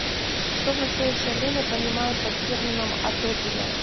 что в настоящее время понимают под термином атопия